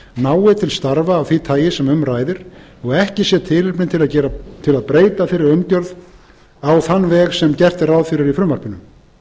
nái til starfa af því tagi sem um ræðir og ekki sé tilefni til að breyta þeirri umgjörð á þann veg sem gert er ráð fyrir í frumvarpinu